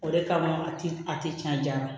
O de kama a ti a ti janya